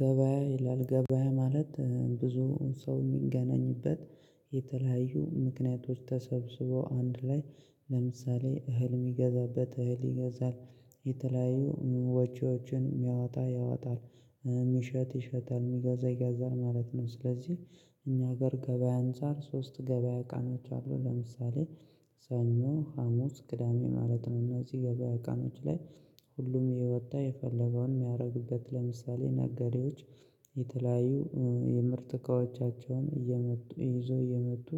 ገበያ ይላል ገበያ ማለት ብዙ ሰው የሚገናኝበት የተለያዩ ምክንያቶች ተሰብስበው አንድ ላይ ለምሳሌ እህል የሚገዛበት እህል ይገዛል የተለያዩ ወጪዎችን የሚያወጣ ያወጣል የሚሸጥ ይሸጣል የሚገዛ ይገዛል ማለት ነው። ስለዚህ እኛ ሀገር ገበያ አንፃር ሶስት ገበያ አቃማዎች አሉ ለምሳሌ ሰኞ ሀሙስ ቅዳሜ ማለት ነው። እነዚህ ገበያ ቀኖች ላይ ሁሉም እየወጣ የፈለገውን የሚያደርግበት ለምሳሌ ነገዴዎች የተለያዩ የምርት እቃዎቻቸውን እያመጡ ይዞ እያመጡ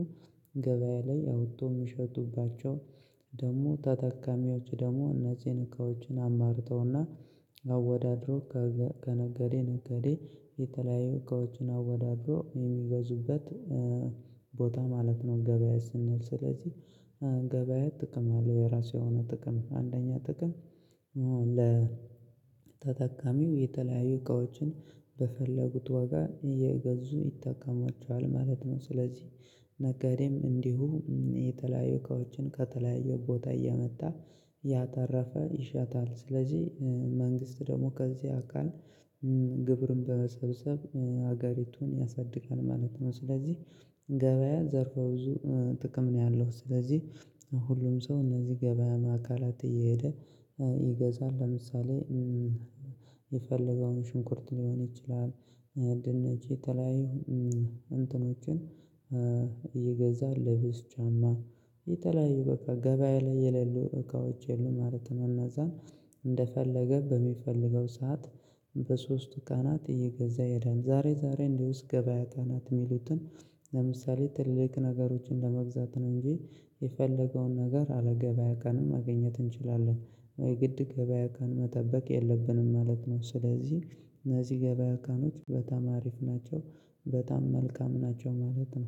ገበያ ላይ አውጥቶ የሚሸጡባቸው ደግሞ ተጠቃሚዎች ደግሞ እነዚህን እቃዎችን አማርጠውና አወዳድሮ ከነጋዴ ነጋዴ የተለያዩ እቃዎችን አወዳድሮ የሚገዙበት ቦታ ማለት ነው። ገበያ ስንል ስለዚህ ገበያ ጥቅም አለው የራሱ የሆነ ጥቅም አንደኛ ጥቅም ለተጠቃሚው የተለያዩ እቃዎችን በፈለጉት ዋጋ እየገዙ ይጠቅማቸዋል ማለት ነው። ስለዚህ ነጋዴም እንዲሁ የተለያዩ እቃዎችን ከተለያዩ ቦታ እያመጣ እያተረፈ ይሸጣል ስለዚህ መንግስት ደግሞ ከዚህ አካል ግብርን በመሰብሰብ ሀገሪቱን ያሳድጋል ማለት ነው። ስለዚህ ገበያ ዘርፈ ብዙ ጥቅም ነው ያለው ስለዚህ ሁሉም ሰው እነዚህ ገበያ ማካላት እየሄደ ይገዛል ለምሳሌ። የፈለገውን ሽንኩርት ሊሆን ይችላል ድንች የተለያዩ እንትኖችን ይገዛል ልብስ ጫማ የተለያዩ በቃ ገበያ ላይ የሌሉ እቃዎች የሉም ማለት ነው። እና እዛም እንደፈለገ በሚፈልገው ሰዓት በሶስቱ ቀናት እየገዛ ይሄዳል ዛሬ ዛሬ እንዲውስ ገበያ ቅናት የሚሉትን ለምሳሌ ትልልቅ ነገሮችን ለመግዛት ነው እንጂ የፈለገውን ነገር ያለ ገበያ ቀን ማግኘት እንችላለን የግድ ገበያ ቀን መጠበቅ የለብንም ማለት ነው። ስለዚህ እነዚህ ገበያ ቀኖች በጣም አሪፍ ናቸው በጣም መልካም ናቸው ማለት ነው